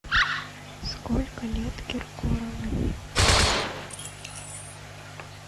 сколько лет киркорову